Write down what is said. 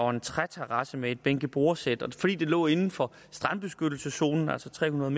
en træterrasse med et bænke og bordsæt men fordi det lå inden for strandbeskyttelseszonen altså tre hundrede